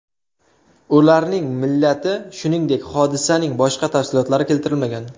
Ularning millati, shuningdek, hodisaning boshqa tafsilotlari keltirilmagan.